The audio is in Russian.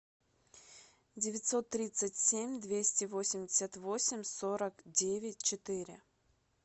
девятьсот тридцать семь двести восемьдесят восемь сорок девять четыре